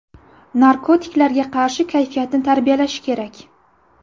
Narkotiklarga qarshi kayfiyatni tarbiyalash kerak.